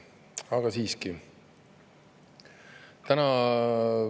Aga siiski.